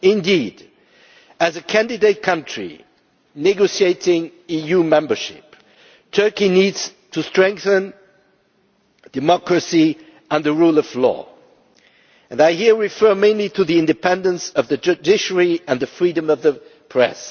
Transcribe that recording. Indeed, as a candidate country negotiating EU membership, Turkey needs to strengthen democracy and the rule of law and I refer here mainly to the independence of the judiciary and the freedom of the press.